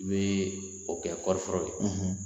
N bi o kɛ kɔrifɔrɔ la